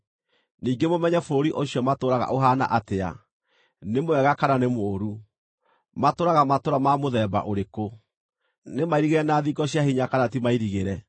Ningĩ mũmenye bũrũri ũcio matũũraga ũhaana atĩa? Nĩ mwega kana nĩ mũũru? Matũũraga matũũra ma mũthemba ũrĩkũ? Nĩ mairigĩre na thingo cia hinya kana ti mairigĩre?